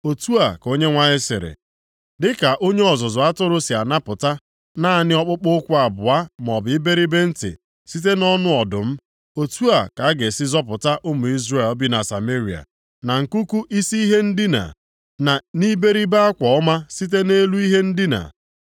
Otu a ka Onyenwe anyị sịrị, “Dịka onye ọzụzụ atụrụ si anapụta naanị ọkpụkpụ ụkwụ abụọ maọbụ iberibe ntị site nʼọnụ ọdụm, otu a ka a ga-esi zọpụta ụmụ Izrel bi na Sameria, na nkuku isi ihe ndina + 3:12 Ndị na-edina nʼelu akwa dara oke ọnụahịa na nʼiberibe akwa ọma site nʼelu ihe ndina. + 3:12 Ọ bụ nʼọnụ akụkụ ihe ndina na akwa ha”